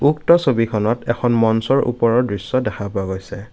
উক্ত ছবিখনত এখন মঞ্চৰ ওপৰৰ দৃশ্য দেখা পোৱা গৈছে।